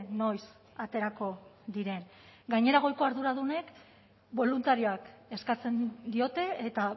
noiz aterako diren gainera goiko arduradunek boluntarioak eskatzen diote eta